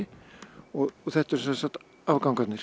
og þetta eru sem sagt